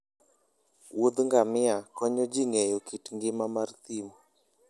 woudh ngamia konyo ji ng'eyo kit ngima mar thim